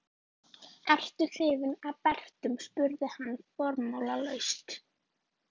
Ertu hrifinn af Bretum? spurði hann formálalaust.